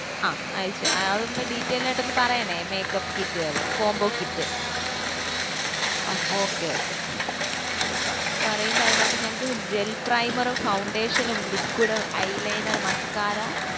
ആഹ് അതൊന്നു detail ആയിട്ടു ഒന്ന് പറയണേ makeup kit കള് combo kit അഹ് okay okay പറയുമ്പോ അതിനകത്തു ഞങ്ങക്ക് gel primer foundation liquid eyeliner muscara